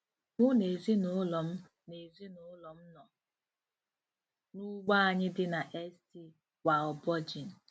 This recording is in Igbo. Mụ na ezinụlọ m na ezinụlọ m nọ n'ugbo anyị dị na St. Walburgen